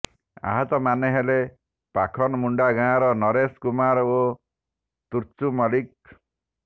ଆହତମାନେ ହେଲେ ପଖନମୁଣ୍ଡା ଗାଁର ନରେଶ କୁମାର ଓ ତୁର୍ଚୁ ମଲ୍ଲିକ